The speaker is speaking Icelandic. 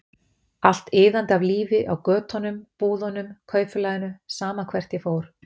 Allt iðandi af lífi, á götunum, búðunum, kaupfélaginu, sama hvert ég fór.